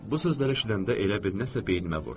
Bu sözləri eşidəndə elə bil nəsə beynimə vurdu.